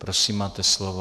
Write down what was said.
Prosím, máte slovo.